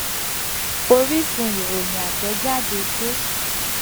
oríṣun ìròyìn atejade ge